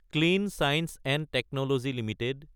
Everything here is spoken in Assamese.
clean science & technology Ltd